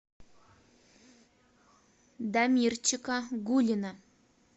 дамирчика гулина